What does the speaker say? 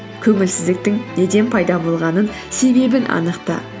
көңілсіздіктің неден пайда болғанын себебін анықта